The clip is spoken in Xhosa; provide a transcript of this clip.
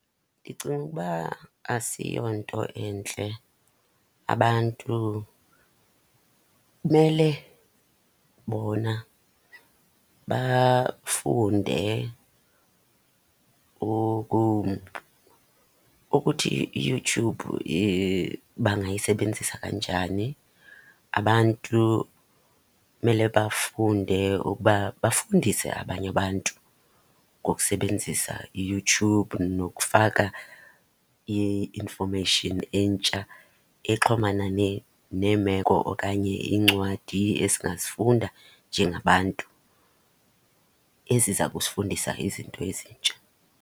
Ndicinga ukuba asiyonto entle. Abantu kumele bona bafunde ukuthi iYouTube bangayisebenzisa kanjani. Abantu kumele bafunde ukuba bafundise abanye abantu ngokusebenzisa iYouTube nokufaka i-information entsha exhomana neemeko okanye iincwadi esingazifunda njengabantu eziza kusifundisa izinto ezintsha.